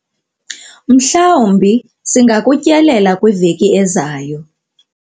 mhlawumbi singakutyelela kwiveki ezayo